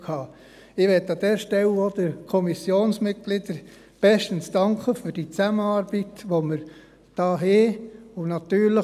Ich möchte an dieser Stelle den Kommissionsmitgliedern für die Zusammenarbeit, die wir haben, bestens danken.